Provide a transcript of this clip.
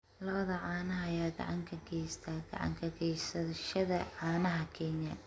Lo'da caanaha ayaa gacan ka geysta gacan ka gaysashada caanaha Kenya.